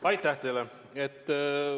Aitäh teile!